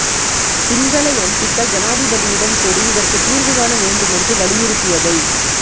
சிங்கள எம்பிக்கள் ஜனாதிபதியிடம் கூறி இதற்குத் தீர்வு காண வேண்டுமென்று வலியுறுத்தியதை